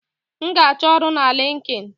M na-achọ ọrụ na LinkedIn